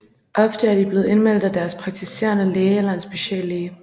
Ofte er de blevet indmeldt af deres praktiserende læge eller en speciallæge